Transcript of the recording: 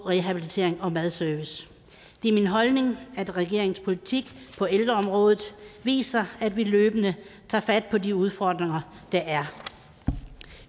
rehabilitering og madservice det er min holdning at regeringens politik på ældreområdet viser at vi løbende tager fat på de udfordringer der er